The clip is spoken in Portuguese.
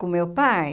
Com meu pai?